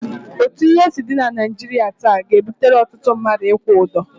Otu ihe si dị na Naịjirịa taa ga-ebutere ọtụtụ mmadụ ịkwụ ụdọ.